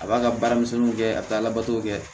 A b'a ka baara misɛnninw kɛ a bɛ taa labato kɛ